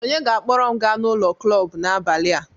Onye ga-akpọrọ m gaa ụlọ klọb n'abalị a